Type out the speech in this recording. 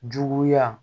Juguya